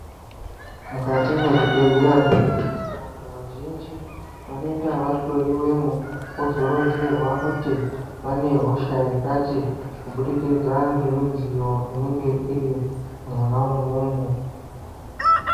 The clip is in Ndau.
Mukati mwezvibhedhleya tinoona kuti vantu vazhinji vanoenda vahloyiwemwo vozoronzerwa kuti vane hosha yakati kubudikidza ngemidziyo inenge iri mwona imwomwo.